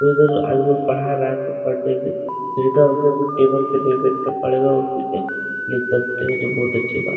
उधर आदमी पढ़ा रहा था टेबल पे नहीं बैठना पड़ेगा उसी पे लिख सकते हो जो बहोत अच्छी बात --